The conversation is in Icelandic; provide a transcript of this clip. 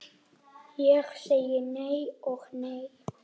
Ég segi nei og nei.